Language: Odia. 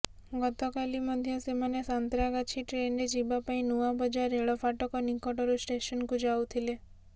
ଗତକାଲି ମଧ୍ୟ ସେମାନେ ସାନ୍ତ୍ରାଗାଛି ଟ୍ରେନରେ ଯିବା ପାଇଁ ନୂଆବଜାର ରେଳ ଫାଟକ ନିକଟରୁ ଷ୍ଟେସନକୁ ଯାଉଥିଲେ